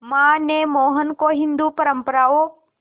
मां ने मोहन को हिंदू परंपराओं